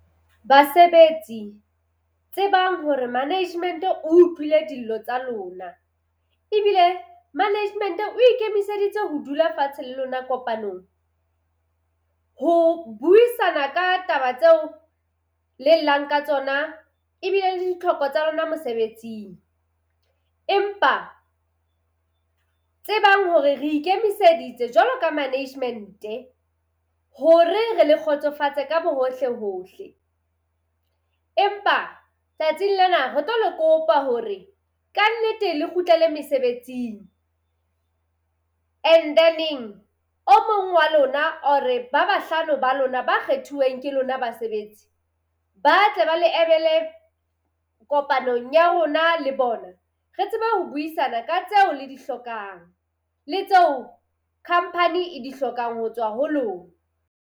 Basebetsi, tsebang hore management o utlwile dillo tsa lona ebile management o ikemiseditse ho dula fatshe le lona kopanong. Ho buisana ka taba tseo le llang ka tsona ebile le ditlhoko tsa lona mosebetsing. Empa tsebang hore re ikemiseditse jwalo ka management-e hore re le kgotsofatse ka bohohle-hohle. Empa tsatsing lena re tlo le kopa hore kannete le kgutlele mesebetsing. And then-eng o mong wa lona or-re ba bahlano ba lona ba kgethuweng ke lona basebetsi, ba tle ba le emele kopanong ya rona le bona re tsebe ho buisana ka tseo le di hlokang le tseo company e di hlokang ho tswa ho lona.